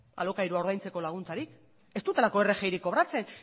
alokairua ordaintzeko laguntzarik ez dutelako rgi kobratzen